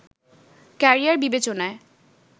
career বিবেচনায়